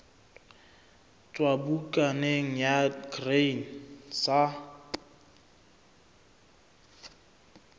tswa bukaneng ya grain sa